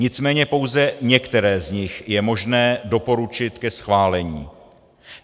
Nicméně pouze některé z nich je možné doporučit ke schválení.